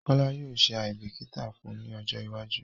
Kola yóò ṣe aìbíkítà fun ni ọjọ́ iwájú